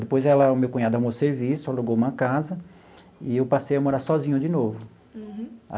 Depois ela, o meu cunhado, arrumou serviço, alugou uma casa, e eu passei a morar sozinho de novo. Uhum.